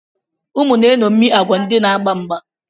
Ụmụ na-eṅomie agwa ndị na-agba mgba.